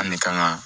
An ne kan ka